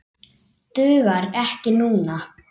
Dugar ekki núna.